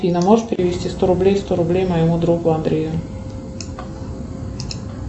афина можешь перевести сто рублей сто рублей моему другу андрею